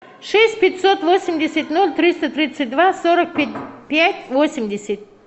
шесть пятьсот восемьдесят ноль триста тридцать два сорок пять восемьдесят